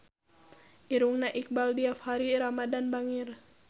Irungna Iqbaal Dhiafakhri Ramadhan bangir